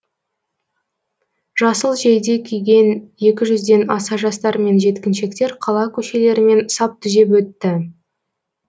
жасыл жейде киген екі жүзден аса жастар мен жеткіншектер қала көшелерімен сап түзеп өтті